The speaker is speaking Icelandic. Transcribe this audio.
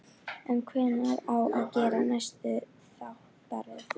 En hvenær á að gera næstu þáttaröð?